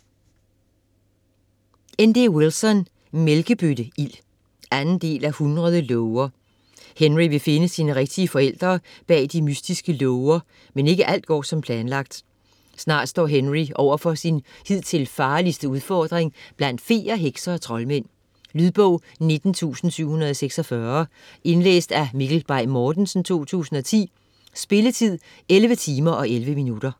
Wilson, N. D.: Mælkebøtte-ild 2. del af 100 låger. Henry vil finde sine rigtige forældre bag de mystiske låger, men ikke alt går som planlagt. Snart står Henry overfor sin hidtil farligste udfordring blandt feer, hekse og troldmænd. Lydbog 19746 Indlæst af Mikkel Bay Mortensen, 2010. Spilletid: 11 timer, 11 minutter.